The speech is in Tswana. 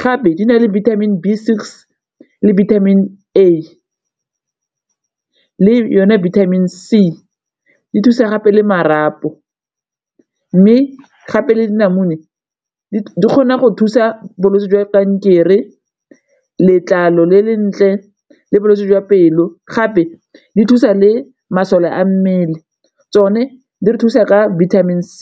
gape di na le vitamin B six le vitamin A le yone vitamin C di thusa gape le marapo. Mme gape le dinamune di kgona go thusa bolwetse jwa kankere, letlalo le le ntle, le bolwetse jwa pelo gape di thusa le masole a mmele tsone di re thusa ka vitamin C.